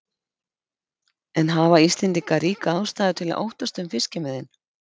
En hafa Íslendingar ríka ástæðu til að óttast um fiskimiðin?